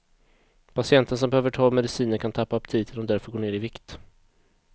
Patienter som behöver ta mediciner kan tappa aptiten och därför gå ner i vikt.